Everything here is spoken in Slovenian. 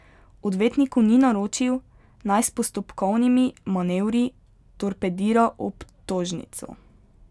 Odvetniku ni naročil, naj s postopkovnimi manevri torpedira obtožnico.